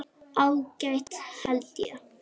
Ágætt held ég.